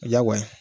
Diyagoya ye